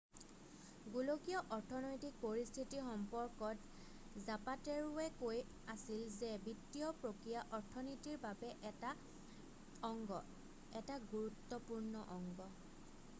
"গোলকীয় অৰ্থনৈতিক পৰিস্থিতিৰ সম্পৰ্কত জাপাটেৰ'ৱে কৈ আছিল যে "বিত্তীয় প্ৰক্ৰিয়া অৰ্থনীতিৰ এটা অংগ এটা গুৰুত্বপূৰ্ণ অংগ।""